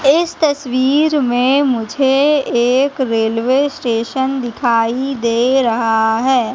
इस तस्वीर में मुझे एक रेलवे स्टेशन दिखाई दे रहा है।